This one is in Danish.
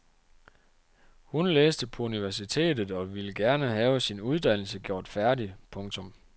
Hun læste på universitetet og ville gerne have sin uddannelse gjort færdig. punktum